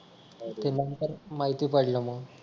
ते नंतर माहिती पडलं मग